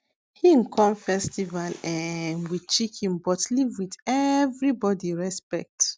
hin come festival um with chicken but leave with everybody respect